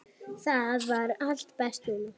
Bláskel liggur brotin milli hleina.